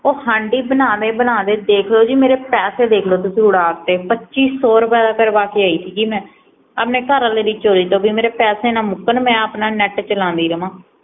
ਓ ਹਾਂਡੀ ਬਨਾਦੇ ਬਨਾਦੇ ਦੇਖ ਲਓ ਜੀ ਮੇਰੇ ਪੈਸੇ ਦੇਖ ਲਓ ਜੀ ਤੁਸੀ ਉਡਾ ਤੇ ਪੱਚੀ ਸੋ ਰੁਪਏ ਦਾ ਕਰਵਾ ਕੇ ਆਈ ਸੀਗੀ ਮੈ ਆਪਣੇ ਘਰਵਾਲੇ ਦੀ ਚੋਰੀ ਤੋਂ ਕੀ ਮੇਰੇ ਪੈਸੇ ਨਾ ਮੁਕਣ ਮੈ ਆਪਣਾ ਨੈਟ ਚਲੋਦੀ ਰਹਾਂ